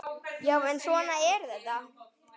Já, en svona er þetta.